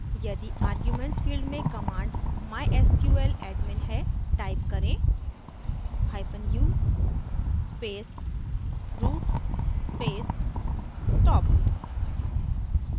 यदि arguments field में command mysqladmin है type करेंu space root space stop